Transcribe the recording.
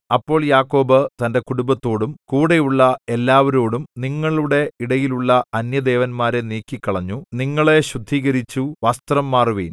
അപ്പോൾ യാക്കോബ് തന്റെ കുടുംബത്തോടും കൂടെയുള്ള എല്ലാവരോടും നിങ്ങളുടെ ഇടയിലുള്ള അന്യദേവന്മാരെ നീക്കിക്കളഞ്ഞു നിങ്ങളെ ശുദ്ധീകരിച്ചു വസ്ത്രം മാറുവിൻ